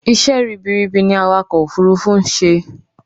Isẹ́ ribiribi ni awakọ̀ òfurufú ń ṣe